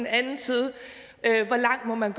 anden side hvor langt man